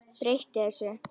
Breyti þessu.